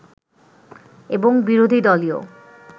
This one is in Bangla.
এবং বিরোধী দলীয়